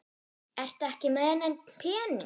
Ertu ekki með neinn pening?